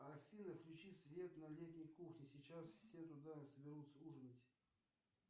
афина включи свет на летней кухне сейчас все туда соберутся ужинать